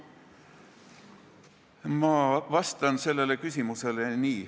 Ma vastan sellele küsimusele nii.